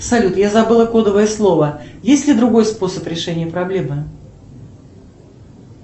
салют я забыла кодовое слово есть ли другой способ решения проблемы